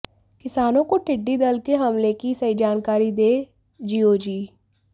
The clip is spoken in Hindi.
किसानों को टिड्डी दल के हमले की सही जानकारी दें जीओजी